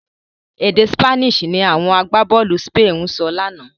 Èdè Spanish ni àwọn agbábọ̀ọ̀lù Spain ń sọ lánàá.